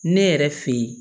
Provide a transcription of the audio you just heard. Ne yɛrɛ fɛ yen